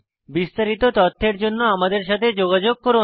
বিস্তারিত তথ্যের জন্য আমাদের সাথে যোগাযোগ করুন